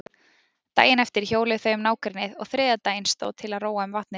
Daginn eftir hjóluðu þau um nágrennið og þriðja daginn stóð til að róa um vatnið.